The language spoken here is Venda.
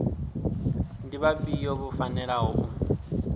ndi vhafhio vho fanelaho u